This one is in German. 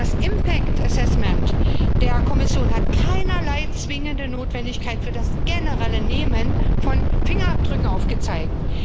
Die Folgenabschätzung der Kommission hat keinerlei zwingende Notwendigkeit für das generelle Nehmen von Fingerabdrücken aufgezeigt.